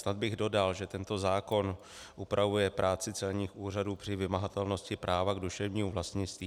Snad bych dodal, že tento zákon upravuje práci celních úřadů při vymahatelnosti práva k duševnímu vlastnictví.